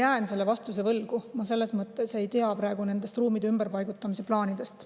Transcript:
Ma jään selle vastuse võlgu, ma ei tea praegu nendest ruumide ümberpaigutamise plaanidest.